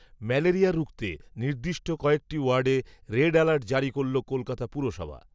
malaria রুখতে, নির্দিষ্ট কয়েকটি ওয়ার্ডে রেড, অ্যালার্ট, জারি করল কলকাতা পুরসভা